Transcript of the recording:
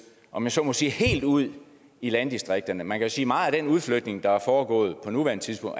om jeg så må sige helt ud i landdistrikterne man kan sige at meget af den udflytning der er foregået på nuværende tidspunkt